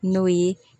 N'o ye